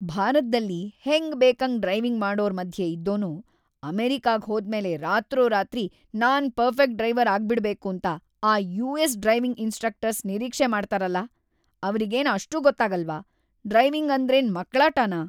ಭಾರತ್ದಲ್ಲಿ ಹೆಂಗ್‌ಬೇಕಂಗ್‌ ಡ್ರೈವಿಂಗ್‌ ಮಾಡೋರ್‌ ಮಧ್ಯೆ ಇದ್ದೋನು ಅಮೆರಿಕಾಗ್ ಹೋದ್ಮೇಲೆ ರಾತ್ರೋರಾತ್ರಿ ನಾನ್‌ ಪರ್ಫೆಕ್ಟ್‌ ಡ್ರೈವರ್‌ ಆಗ್ಬಿಡ್ಬೇಕೂಂತ ಆ ಯು.ಎಸ್.‌ ಡ್ರೈವಿಂಗ್‌ ಇನ್ಸ್‌ಟ್ರಕ್ಟರ್ಸ್‌ ನಿರೀಕ್ಷೆ ಮಾಡ್ತಾರಲ, ಅವ್ರಿಗೇನ್‌ ಅಷ್ಟೂ ಗೊತ್ತಾಗಲ್ವಾ? ಡ್ರೈವಿಂಗ್‌ ಅಂದ್ರೇನ್ ಮಕ್ಳಾಟನಾ?!